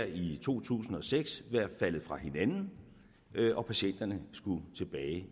i to tusind og seks været faldet fra hinanden og patienterne skulle tilbage i